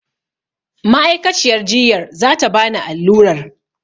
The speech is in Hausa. Ma'aikaciyar jiyyar za ta bani allurar.